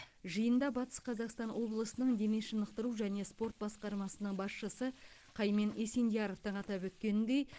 жиында батыс қазақстан облысының дене шынықтыру және спорт басқармасының басшысы қаймен есендияровтың атап өткеніндей